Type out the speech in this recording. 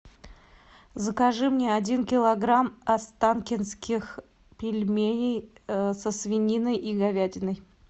закажи мне один килограмм останкинских пельменей со свининой и говядиной